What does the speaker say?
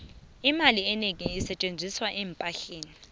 imali enengi isetjenziswa eempahleni